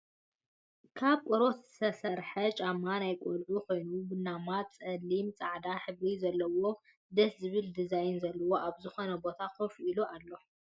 ካብ ቆርበት ዝተሰርሐ ጫማ ናይ ቆልዑ ኮይኑ ቡናማ፣ ፀሊ፣ ፃዕዳን ሕብሪ ዘለዎ ደስ ዝብል ዲዛይን ዘለዎ ኣብ ዝኮነ ቦታ ኮፍ ኢሉ ኣሎ ።